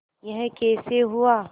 यह कैसे हुआ